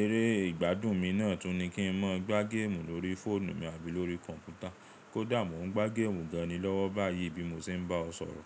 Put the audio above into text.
eré ìgbádùn mi náà tún ni kí n má gbá géèmù lórí fóònù mi àbí lórí kọ̀npútà. Kódà mò ń gbá géèmù gan ni lọ́wọ́ báyìí bí mo ṣe ń bá ọ sọ̀rọ̀.